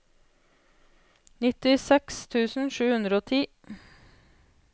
nittiseks tusen sju hundre og ti